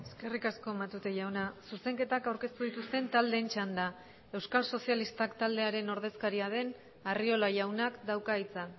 eskerrik asko matute jauna zuzenketak aurkeztu dituzten taldeen txanda euskal sozialistak taldearen ordezkaria den arriola jaunak dauka hitza